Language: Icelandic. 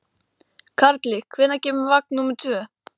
Karli, hvenær kemur vagn númer tvö?